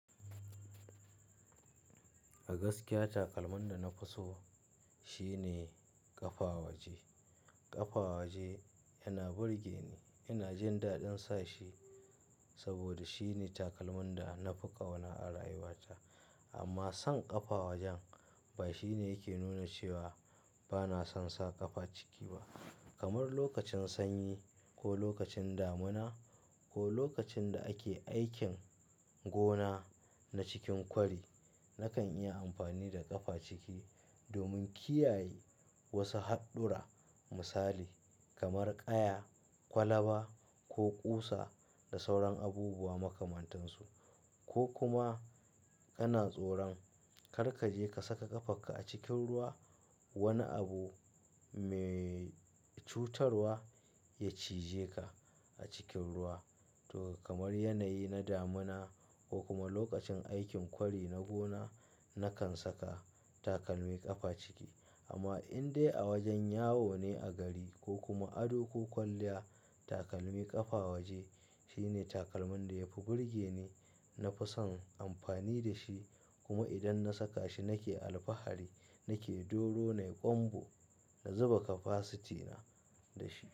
A gaskiya takalman da na fi so shine ƙafa waje. Ƙafa waje yana burge ni, ina jin daɗin sa shi saboda shine takalmin da na fi ƙauna a rayuwata. Amma son ƙafa wajen ba shine yake nuna cewa ba na son sa ƙafa ciki ba. Kamar lokacin sanyi ko lokacin damuna ko lokacin da ake aikin gona na cikin kwari, na kan iya amfani da ƙafa ciki domin kiyaye wasu haɗɗura misali kamar ƙaya, kwalaba ko ƙusa da sauran abubuwa makamantansu. Ko kuma kana tsoron kar ka je ka saka ƙafarka a cikin ruwa, wani abu mai cutarwa ya cije ka a cikin ruwa. To kamar yanayi na damuna ko kuma lokacin aikin kwari na gona, na kan saka takalmi ƙafa ciki. Amma in dai a wajen yawo ne a gari ko kuma ado ko kwalliya, takalmi ƙafa waje shine takalmin da yafi burge ni. Na fi son amfani da shi kuma idan na saka shi nake alfahari, nake doro, nayi ƙwanbo, na zuba kapasitina da shi.